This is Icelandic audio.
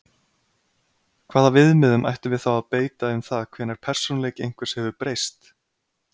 Hvaða viðmiðum ættum við þá að beita um það hvenær persónuleiki einhvers hefur breyst?